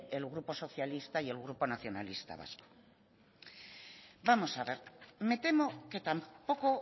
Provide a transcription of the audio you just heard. el grupo socialista y el grupo nacionalista vasco vamos a ver me temo que tampoco